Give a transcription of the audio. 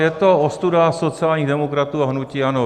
Je to ostuda sociálních demokratů a hnutí ANO.